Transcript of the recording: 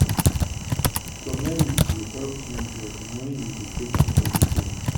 turmeric dey help clean blood wen you dey take am everyday.